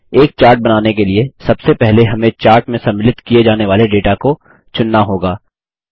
एक चार्ट बनाने के लिए सबसे पहले हमें चार्ट में सम्मिलित किये जाने वाले डेटा को चुनना होगा